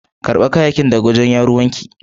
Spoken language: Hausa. karba kayayakin daga wajen Yaruwan ki.